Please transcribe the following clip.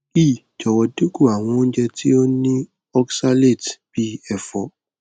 ii jọwọ dinku awọn ounjẹ ti o ni oxalates bii efo